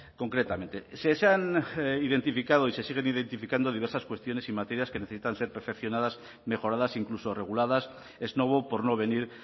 concretamente se han identificado y se siguen identificando diversas cuestiones y materias que necesitan ser perfeccionadas mejoradas e incluso reguladas ex novo por no venir